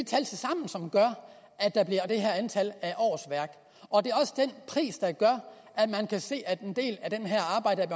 er det her antal af årsværk og den pris der gør at man kan se at en del af det her arbejde er